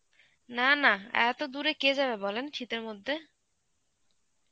না, না, এত দূরে কে যাবে বলেন শীতের মধ্যে.